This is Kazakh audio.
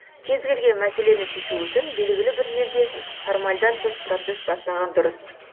кез келген мәселені шешу үшін белгілі бір жерде формальдан тыс процесс бастаған дұрыс